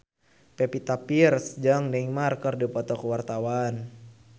Pevita Pearce jeung Neymar keur dipoto ku wartawan